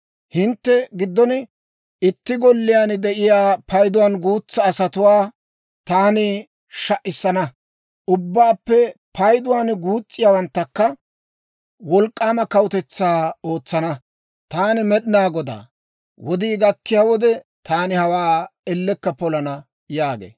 Hintte giddon itti golliyaan de'iyaa payduwaan guutsaa asatuwaa taani sha"issana; ubbaappe payduwaan guus's'iyaawanttakka wolk'k'aama kawutetsaa ootsana. Taani Med'inaa Godaa; wodii gakkiyaa wode, taani hawaa ellekka polana» yaagee.